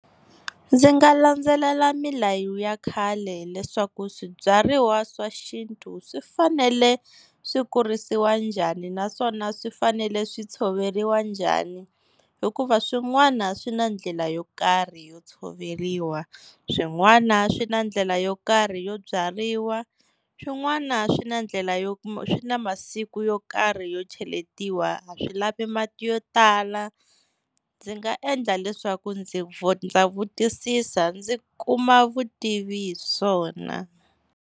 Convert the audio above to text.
Ndzi nga landzelela milayo ya khale leswaku swibyariwa swa xintu swi fanele swi kurisiwa njhani, naswona swi fanele swi tshoveriwa njhani hikuva swin'wana swi na ndlela yo karhi yo tshoveriwa, swin'wana swi na ndlela yo karhi yo byariwa, swin'wana swi na ndlela yo, swi na masiku yo karhi yo cheletiwa a swi lavi mati yo tala. Ndzi nga endla leswaku ndzi ndza vutisisa ndzi kuma vutivi hi swona.